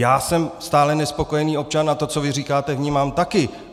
Já jsem stále nespokojený občan a to, co vy říkáte, vnímám taky.